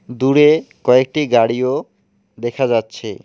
দূরে কয়েকটি গাড়িও দেখা যাচ্ছে।